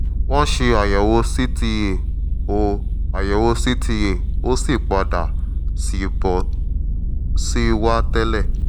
wọ́n ṣe àyẹ̀wò cta ó àyẹ̀wò cta ó sì padà sí bó ṣe wà tẹ́lẹ̀